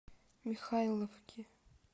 михайловке